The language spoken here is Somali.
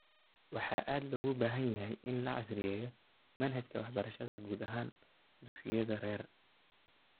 Waxaa aad loogu baahan yahay in la casriyeeyo manhajka waxbarashada guud ahaan dugsiyada rer .